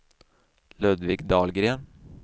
Ludvig Dahlgren